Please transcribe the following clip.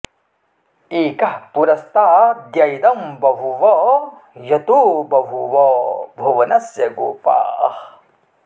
एकः पुरस्ताद्य इदं बभूव यतो बभूव भुवनस्य गोपाः